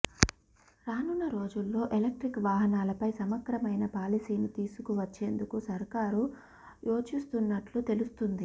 రానున్న రోజుల్లో ఎలక్ట్రిక్ వాహనాలపై సమగ్రమైన పాలసీని తీసుకువచ్చేందుకు సర్కారు యోచిస్తున్నట్టు తెలుస్తుంది